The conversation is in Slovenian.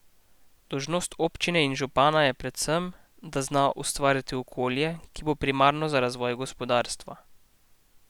Dolžnost občine in župana je predvsem, da zna ustvariti okolje, ki bo primerno za razvoj gospodarstva.